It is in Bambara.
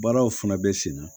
Baaraw fana bɛ sen na